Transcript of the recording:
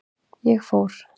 Ég fór.